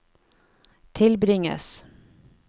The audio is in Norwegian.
tilbringes